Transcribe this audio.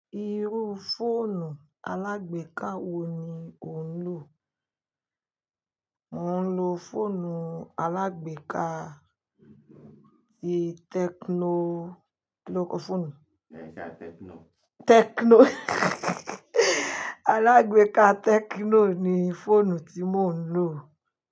Irú fóònù alágbèká wo ni o ń lò? Mo ń lo fóònù alágbèká ti Tecno Kí loókọ fóònù yí? Tecno alágbèká Tecno ni fóònù tí mò ń lò.